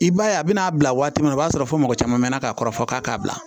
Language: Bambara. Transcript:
I b'a ye a bɛna bila waati min na o b'a sɔrɔ fɔ mɔgɔ caman mɛ na ka kɔrɔfɔ k'a k'a bila